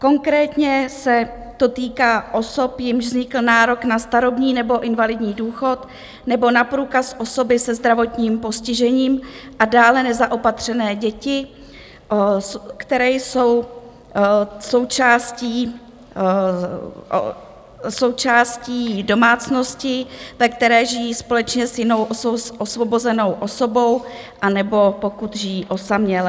Konkrétně se to týká osob, jimž vznikl nárok na starobní nebo invalidní důchod nebo na průkaz osoby se zdravotním postižením, a dále nezaopatřené děti, které jsou součástí domácnosti, ve které žijí společně s jinou osvobozenou osobou, anebo pokud žijí osaměle.